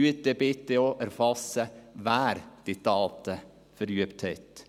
Erfassen Sie dann bitte auch, wer diese Taten verübt hat.